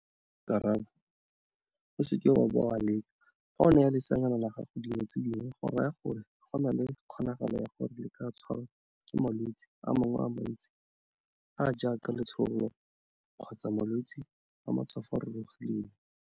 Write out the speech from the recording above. Karabo - O seke wa bo wa leka, fa o naya leseanyana la gago dino tse dingwe go raya gore go na le kgonagalo ya gore le ka tshwarwa ke malwetse a mangwe a mantsi a a jaaka letshololo kgotsa malwetse a matshwafo a a rurugileng.